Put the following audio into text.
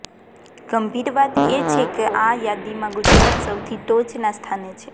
ગંભીર વાત એ છે કે આ યાદીમાં ગુજરાત સૌથી ટોચના સ્થાને છે